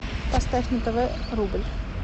поставь на тв рубль